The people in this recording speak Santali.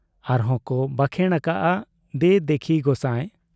ᱟᱨᱦᱚᱸ ᱠᱚ ᱵᱟᱠᱷᱮᱬ ᱟᱠᱟᱜ ᱟ, ᱫᱮ ᱫᱮᱠᱷᱤ ᱜᱚᱸᱥᱟᱭ ᱾